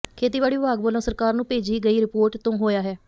ਖੇਤੀਬਾੜੀ ਵਿਭਾਗ ਵਲੋਂ ਸਰਕਾਰ ਨੂੰ ਭੇਜੀ ਗਈ ਰਿਪੋਰਟ ਤੋਂ ਹੋਇਆ ਹੈ